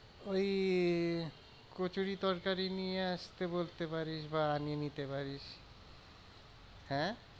ওই কচুরি তরকারি নিয়ে আসতে বলতে পারিস বা আনিয়ে নিতে পারিস হ্যাঁ